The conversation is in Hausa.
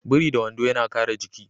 Biri da wando yana kare jiki.